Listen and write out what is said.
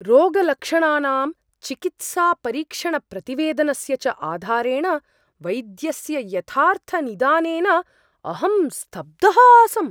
रोगलक्षणानां, चिकित्सापरीक्षणप्रतिवेदनस्य च आधारेण वैद्यस्य यथार्थनिदानेन अहं स्तब्धः आसम्।